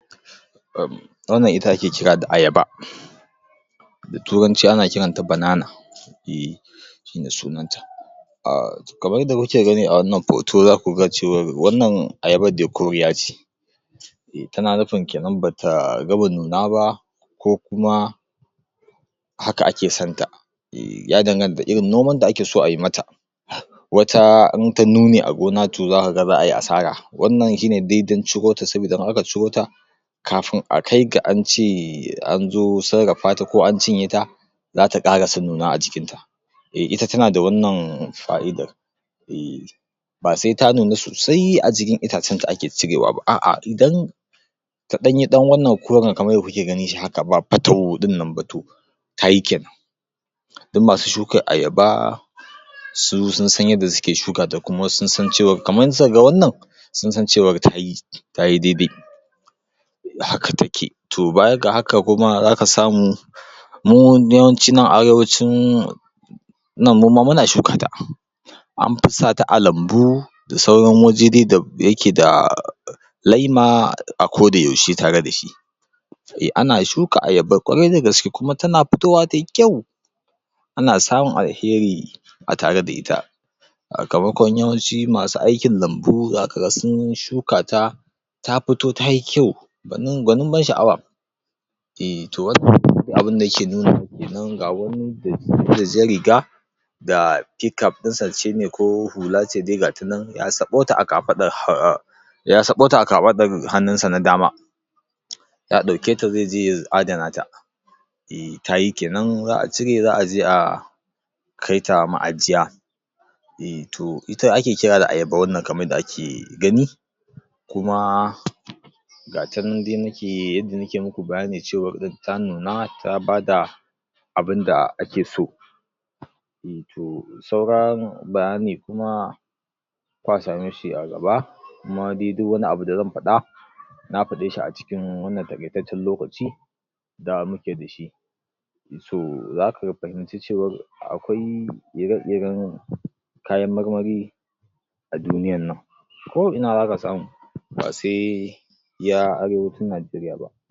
um wannan ita ake kira da ayaba da turanci ana kiranta banana eh shine sunanta kamar yanda muke gani a wannan foto zaku ga cewar wannan ayabar dai koriya ce tana nufin kenan bata gama nuna ba ko kuma haka ake san ta um ya danganta da irin noman da ake so ayi mata wata in ta nune a gona to zaka ga za'a yi asara wannan shine daidan ciro ta saboda in aka ciro ta kafin a kai ga ance anzo sarrafa ta ko an cinye ta zata ƙarasa nuna a cikinta eh ita tana da wannan fa'idar eh ba se ta nuna sosai a jikin itacen ta ake cirewa ba, a'a idan ta ɗan yi wannan koren kamar yanda kuke ganin shi haka ba patau ɗin nan ba to ta yi kenan duk masu shukar ayaba su sun san yadda suke shuka ta kamar idan suka ga wannan sun san cewar ta yi tayi dai-dai haka take to baya ga haka kuma zaka samu mu yawanci nan arewacin nan mu ma muna shuka ta an fi sa ta a lambu da sauran waje dai da da yake da laima a ko da yaushe tare da shi eh ana shuka ayaba ƙwarai da gaske kuma tana fitowa tayi kyau ana samun alheri a tare da ita yawanci masu aikin lambu zaka ga sun shuka ta ta fito tayi kyau gwanin ban sha'awa eh toh wannan abunda yake nunawa kenan ga wani da jan riga da p-cap ɗin sa ko hula ce dai ga ta nan ya saɓo ta a kafaɗa ya saɓo ta a kafaɗarta hannun sa na dama ya ɗauke ta ze je ya adana ta eh tayi kenan za'a cire za'a je a kai ta ma'ajiya eh toh ita ake kira da ayaba wannan kamar yanda ake gani kuma ga ta nan dai yanda nike muku bayani cewar ta nuna ta bada abunda ake so eh to sauran bayani kuma kwa same shi a gaba kuma dai duk wani abu da zan faɗa na faɗe shi a cikin wannan taƙaitaccen lokaci da muke da shi to zaka fahimci cewar akwai ire-iren kayan marmari a duniyan nan ko ina zaka samu ba se iya arewacin Najeriya ba